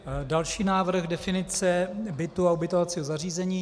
Další návrh, definice bytu a ubytovacího zařízení.